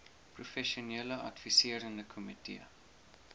professionele adviserende komitee